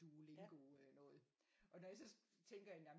Duolingo noget og når jeg så tænker jamen